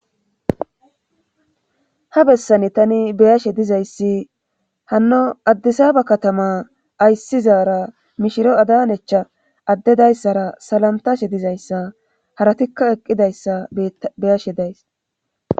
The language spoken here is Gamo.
Ha bessani tani beyashe dizayssi hanno addisaaba katama ayssizaara mishiro adanecha addedayssara salantashe dizayssa haratikka eqqidayssa beyashe days.